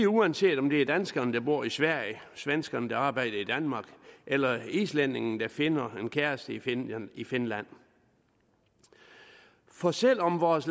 uanset om det er danskeren der bor i sverige svenskeren der arbejder i danmark eller islændingen der finder en kæreste i finland i finland for selv om vores